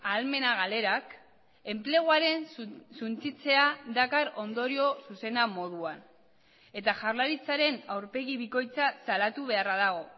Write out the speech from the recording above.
ahalmena galerak enpleguaren suntsitzea dakar ondorio zuzena moduan eta jaurlaritzaren aurpegi bikoitza salatu beharra dago